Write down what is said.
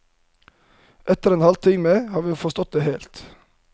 Etter en halvtime har vi forstått det helt.